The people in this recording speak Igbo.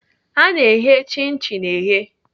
Ana eghe chin chin eghe.